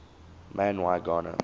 man y gana